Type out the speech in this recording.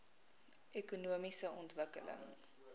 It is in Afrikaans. ekonomiese ontwikkeling